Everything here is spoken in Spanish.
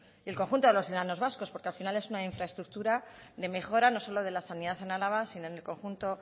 y el conjunto de los enanos vascos porque al final es una infraestructura de mejora no solo de la sanidad en álava sino en el conjunto